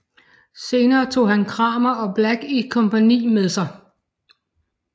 Senere tog han Cramer og Black i kompagni med sig